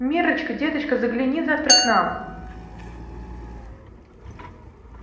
миррочка деточка загляни завтра к нам